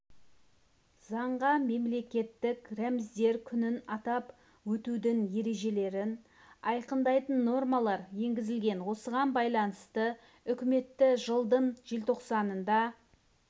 заңға мемлекеттік рәміздер күнін атап өтудің ережелерін айқындайтын нормалар енгізілген осыған байланысты үкіметі жылдың желтоқсанында